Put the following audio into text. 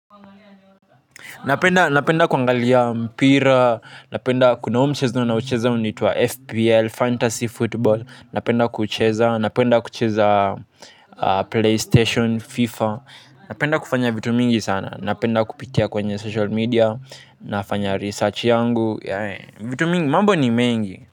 Napenda. Napenda kuangalia mpira. Napenda kuna huu mchezo na ucheza unaoitwa FPL. Fantasy Football. Napenda kuucheza napenda kucheza Playstation Fifa. Napenda kufanya vitu mingi sana. Napenda kupitia kwenye mitandao ya kijamii. Nafanya utafiti wangu wa vitu mingi, mambo ni mengi.